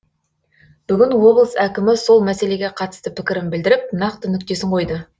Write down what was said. бүгін облыс әкімі сол мәселеге қатысты пікірін білдіріп нақты нүктесін қойды